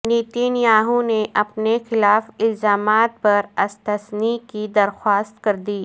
نیتین Yahoo نے اپنے خلاف الزامات پر استثنی کی درخواست کر دی